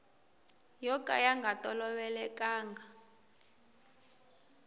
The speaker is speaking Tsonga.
yo ka ya nga tolovelekanga